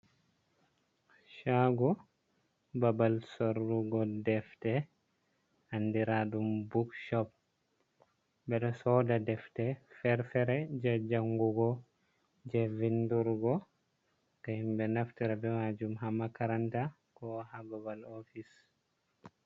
Caago babal sorrugo defte anndiraaɗum bukcop .Ɓe ɗo sooda deftde fere-fere jey jangugo, jey vindurgo ko himɓe naftira be maajum haa makaranta ko haa babal oofis.